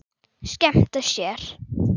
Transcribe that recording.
Skemmta sér.